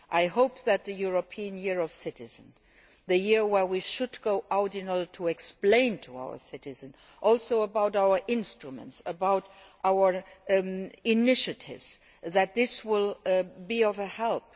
I hope that in the European Year of Citizens the year in which we should go out in order to explain to our citizens, also about our instruments and our initiatives that this will be of help.